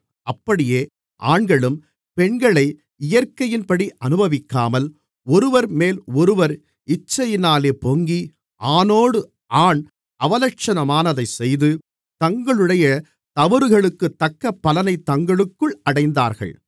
அப்படியே ஆண்களும் பெண்களை இயற்கையின்படி அனுபவிக்காமல் ஒருவர்மேல் ஒருவர் இச்சையினாலே பொங்கி ஆணோடு ஆண் அவலட்சணமானதை செய்து தங்களுடைய தவறுகளுக்குத்தக்க பலனைத் தங்களுக்குள் அடைந்தார்கள்